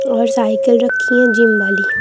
और साइकिल रखी हैं जिम वाली।